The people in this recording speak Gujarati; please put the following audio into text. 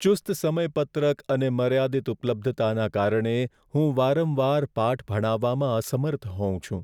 ચુસ્ત સમયપત્રક અને મર્યાદિત ઉપલબ્ધતાને કારણે, હું વારંવાર પાઠ ભણાવવામાં અસમર્થ હોઉં છું.